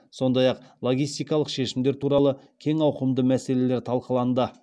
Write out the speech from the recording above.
сондай ақ логистикалық шешімдер туралы кең ауқымды мәселелер талқыланды